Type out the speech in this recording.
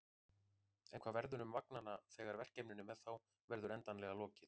En hvað verður um vagnanna þegar verkefninu með þá verður endanlega lokið?